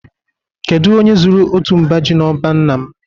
Kedu onye zuru otu mba ji n'ọba nna m